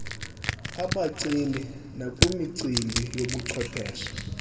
abaceli nakwimicimbi yobuchwephesha